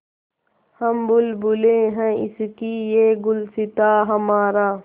हम बुलबुलें हैं इसकी यह गुलसिताँ हमारा